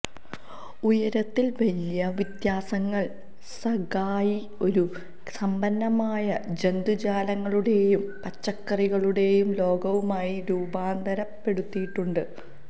ഉയരത്തിൽ വലിയ വ്യത്യാസങ്ങൾ സഗായി ഒരു സമ്പന്നമായ ജന്തുജാലങ്ങളുടെയും പച്ചക്കറികളുടെയും ലോകവുമായി രൂപാന്തരപ്പെടുത്തിയിട്ടുണ്ട്